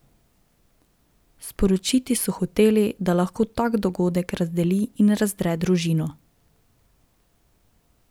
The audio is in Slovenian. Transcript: Sporočiti so hoteli, da lahko tak dogodek razdeli in razdre družino.